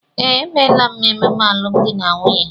Ee, emela m emume alụmdi na nwunye